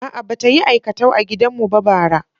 A'a, ba ta yi aikatau a gidan mu ba bara.